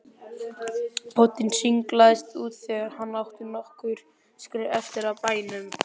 Bóndinn sniglaðist út þegar hann átti nokkur skref eftir að bænum.